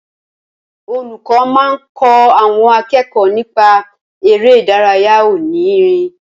Olùkọ́ máa kọ́ àwọn akẹ́kọ̀ọ́ nípa eré ìdárayá òní ìrìn